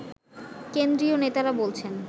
কেন্দ্রীয় নেতারা বলছেন